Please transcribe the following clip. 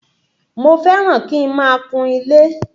Mo fẹ́ràn kí n máa kun ilé.